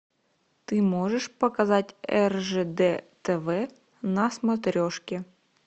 ты можешь показать ржд тв на смотрешке